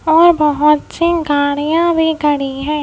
और बहुत सी गाड़ियां भी खड़ी है।